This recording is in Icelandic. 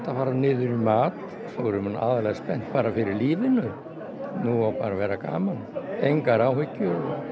fara niður í mat svo erum við aðallega spennt bara fyrir lífinu nú á bara að vera gaman engar áhyggjur